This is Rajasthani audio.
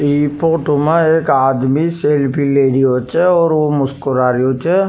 इ फोटो में एक आदमी सेल्फी ले रियो छ और मुस्कुरा रियो छ।